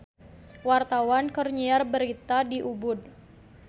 Wartawan keur nyiar berita di Ubud